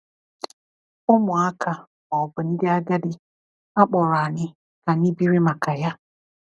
Ụmụaka ma ọ bụ ndị agadi, a kpọrọ anyị ka anyị biri maka Ya.